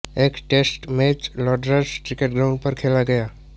एक test match Lord's cricket ground पर खेला गया था